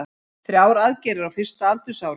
Þrjár aðgerðir á fyrsta aldursári